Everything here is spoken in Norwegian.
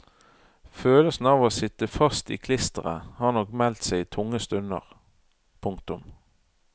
Følelsen av å sitte fast i klisteret har nok meldt seg i tunge stunder. punktum